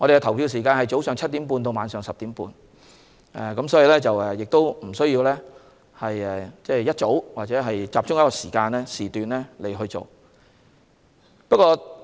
投票時間是早上7時30分至晚上10時30分，大家不用大清早或集中在某一時段去投票。